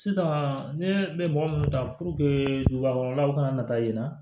Sisan ne bɛ mɔgɔ mun kan dugubakɔnɔlaw ka na taa yen nɔ